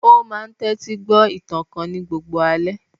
Ó máa n tẹ́tí gbọ́ ìtàn kan ní gbogbo alẹ́